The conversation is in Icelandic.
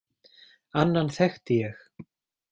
Annan þekkti ég.